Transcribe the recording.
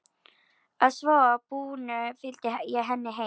Að svo búnu fylgdi ég henni heim.